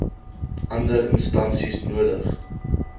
ander instansies nodig